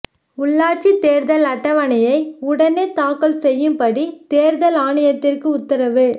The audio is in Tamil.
உள்ளாட்சித் தேர்தல் அட்டவணையை உடனே தாக்கல் செய்யும்படி தேர்தல் ஆணையத்திற்கு உத்தரவு